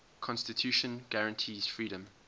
constitution guarantees freedom